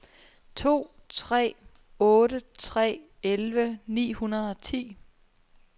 to tre otte tre elleve ni hundrede og ti